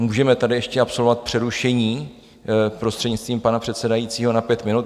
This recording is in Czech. Můžeme tady ještě absolvovat přerušení prostřednictvím pana předsedajícího na pět minut.